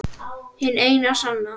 Hin eina sanna